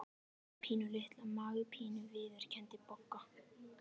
Ég er með pínulitla magapínu viðurkenndi Bogga.